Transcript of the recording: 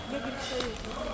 Necə işləyir?